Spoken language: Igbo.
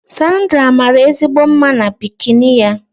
Sandra maara ezigbo mma na bikini ya